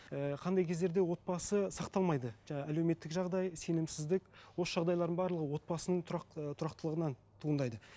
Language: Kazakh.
ііі қандай кездерде отбасы сақталмайды жаңа әлеуметтік жағдай сенімсіздік осы жағдайлардың барлығы отбасының тұрақ ыыы тұрақтылығынан туындайды